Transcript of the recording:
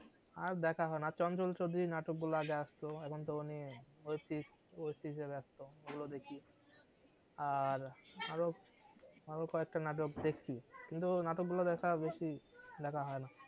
আর দেখা হয়না নাটক গুলা আগে আস্ত এখন তো উনি web series এ ব্যস্ত ঐগুলা দেখি আর আরো আরো কয়েকটা নাটক দেখছি কিন্তু নাটক গুলা দেখা বেশি দেখা হয়না